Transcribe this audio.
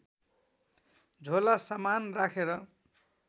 झोला सामान राखेर